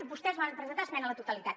vostès hi van presentar esmena a la totalitat